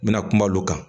N bɛna kuma olu kan